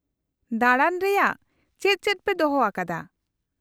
-ᱫᱟᱬᱟᱱ ᱨᱮᱭᱟᱜ ᱪᱮᱫ ᱪᱮᱫ ᱯᱮ ᱫᱚᱦᱚ ᱟᱠᱟᱫᱟ ?